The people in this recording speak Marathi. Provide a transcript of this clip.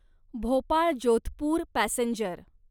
भोपाळ जोधपूर पॅसेंजर